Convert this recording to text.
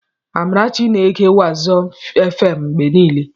Amarachi na-ege wazobíà fm mgbe niile.